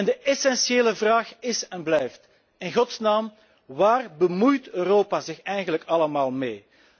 De essentiële vraag is en blijft in godsnaam, waar bemoeit Europa zich eigenlijk allemaal mee?